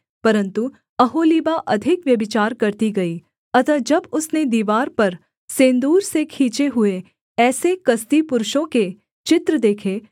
परन्तु ओहोलीबा अधिक व्यभिचार करती गई अतः जब उसने दीवार पर सेंदूर से खींचे हुए ऐसे कसदी पुरुषों के चित्र देखे